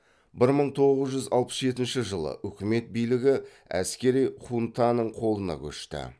бір мың тоғыз жүз алпыс жетінші жылы үкімет билігі әскери хунтаның қолына көшті